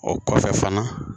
O kɔfɛ fana